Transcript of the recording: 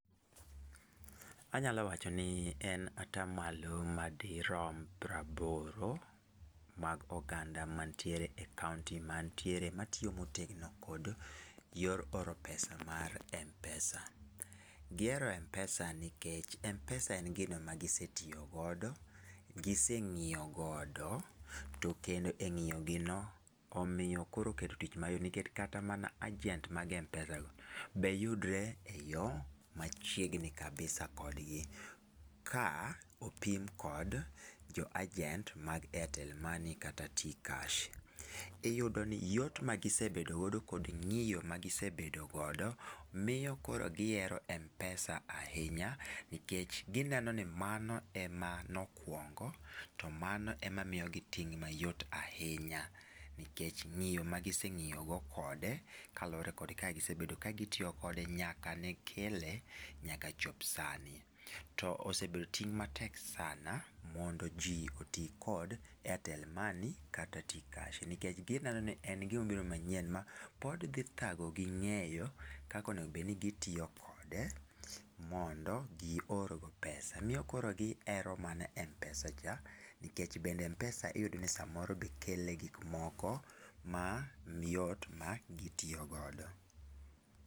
Anyalo wacho ni en ata malo madrom praboro mag oganda mantiere e kaonti mantiere ma tiyo motegno kod yor oro pesa mar mpesa ,gihero mpesa nikech mpesa en gino ma gisetiyo godo, gise ng'iyo godo to kendo e ng'iyo gino omiyo koro oketo tich mayot nikech kata mana agent mag mpesa go be yudre e yoo machiegni kabisa kod gi ka opim kod jo agent mag airtel money kata t-cash iyudo ni yot magi sebedo godo kod ng'iyo magi sebedo godo miyo koro gi hero mpesa ahinya, nikech gi neno ni mano emano kuongo to mano emamiyo gi ting mayot ahinya nikech ng'iyo magi seng'iyo go kode kaluwore kod kaka gisebedo kagi tiyo kode nyaka ne kele nyaka chop sani, to osebedo ting' matek sana mondo ji oti kod airtelmoney kata t-cash nikech gineno ni en gima obiro manyien dhi dhago gi ng'eyo kaka onego bed ni gi tiyo kode mondo gi or go pesa miyo koro gi ero mana mpesa cha nikech bende mpesa iyudo ni samoro kelo gik moko ma yot magi tiyo godo